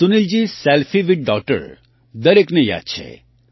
Sunilji selfie with daughter દરેકને યાદ છે